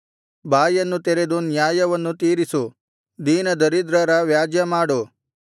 ಬಾಯನ್ನು ತೆರೆದು ನ್ಯಾಯವನ್ನು ತೀರಿಸು ದೀನದರಿದ್ರರ ವ್ಯಾಜ್ಯ ಮಾಡು